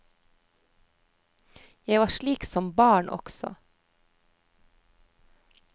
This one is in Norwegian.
Jeg var slik som barn også.